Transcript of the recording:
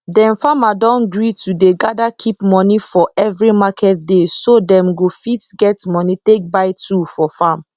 dem farmer don gree to dey gather keep money for every market dayso dem go fit get money take buy tool for farm